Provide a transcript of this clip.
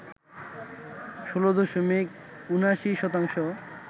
১৬ দশমিক ৭৯ শতাংশ